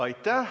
Aitäh!